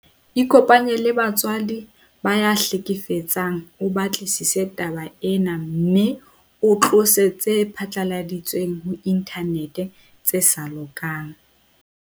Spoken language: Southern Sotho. Ikopanye le batswadi ba ya hlekefetsang o batlisise taba ena mme o tlose tse phatlaladitsweng ho inthanete tse sa lokang.